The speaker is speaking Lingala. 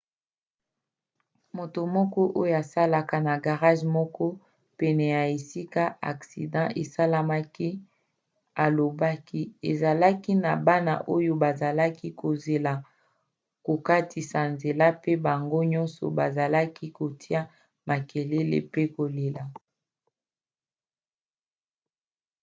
moto moko oyo asalaka na garage moko pene ya esika aksida esalemaki alobaki: ezalaki na bana oyo bazalaki kozela kokatisa nzela pe bango nyonso bazalaki kotia makelele pe kolela.